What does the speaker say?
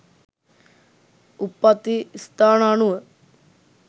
උප්පත්ති ස්ථාන අනුව